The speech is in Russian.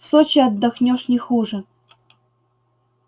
в сочи отдохнёшь не хуже